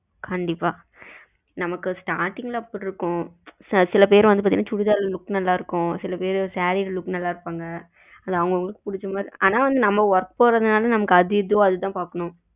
கண்டிப்பா நமக்கு starting ல அப்படி இருக்கும் சில பேருக்கு சுடிதார் look நல்ல இருக்கும் சில பேருக்கு சேரி look ல நல்ல இருப்பாங்க அவங்க அவங்களுக்கு பிடிச்சது ஆனா நம்ம work போறதுனால நமக்கு அது இது எதுவோ அது தான் பாக்கனும்.